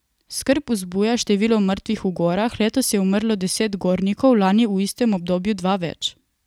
Skrb vzbuja število mrtvih v gorah, letos je umrlo deset gornikov, lani v istem obdobju dva več.